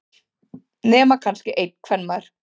Nema kannski einn kvenmaður.